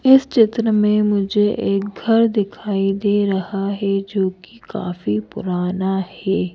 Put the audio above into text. इस चित्र में जो एक घर दिखाई दे रहा है जो कि काफी पुराना है।